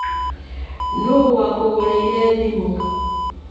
Nũũ wakũgũrĩire thimũ?